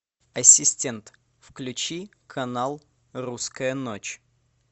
ассистент включи канал русская ночь